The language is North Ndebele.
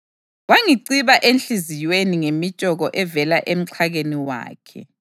Wangiciba enhliziyweni ngemitshoko evela emxhakeni wakhe.